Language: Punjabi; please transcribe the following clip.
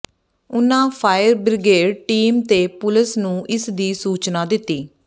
ਉਨ੍ਹਾਂ ਫਾਇਰ ਬਿ੍ਰਗੇਡ ਟੀਮ ਤੇ ਪੁਲਿਸ ਨੂੰ ਇਸ ਦੀ ਸੂਚਨਾ ਦਿੱਤੀ